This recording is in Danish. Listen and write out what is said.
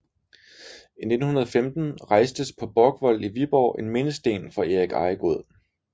I 1915 rejstes på Borgvold i Viborg en mindesten for Erik Ejegod